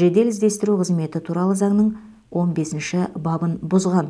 жедел іздестіру қызметі туралы заңның он бесінші бабын бұзған